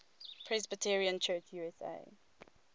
presbyterian church usa